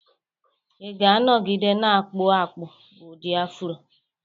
Ị na-anọgide na-akpụ akpụ ụdị Afro